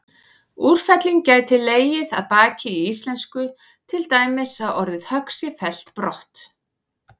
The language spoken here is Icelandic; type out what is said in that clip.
Úrfelling gæti legið að baki í íslensku, til dæmis að orðið högg sé fellt brott.